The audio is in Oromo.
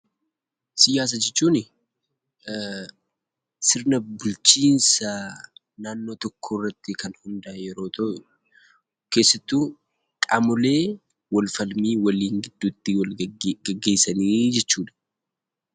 Siyaasa jechuunii sirna bulchiinsa naannoo tokkoorratti kan hundaa'e yeroo ta'u keessattuu qaamolee walfalmii waliin gidduutti wal geggeessanii jechuudha.